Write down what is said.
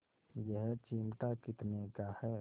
यह चिमटा कितने का है